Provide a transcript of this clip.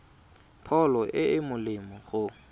pholo e e molemo go